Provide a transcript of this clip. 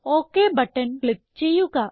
okay button click ചെയ്യുക